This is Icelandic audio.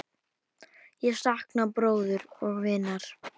Ég sakna bróður og vinar.